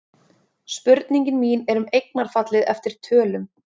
Spurningin mín er um eignarfallið eftir tölum.